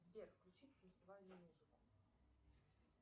сбер включи танцевальную музыку